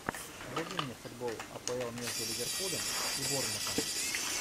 вруби мне футбол апл между ливерпулем и борнмутом